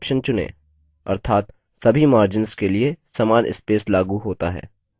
अर्थात सभी margins के लिए समान स्पेस लागू होता है